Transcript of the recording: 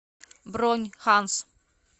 бронь ханс